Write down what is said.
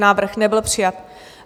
Návrh nebyl přijat.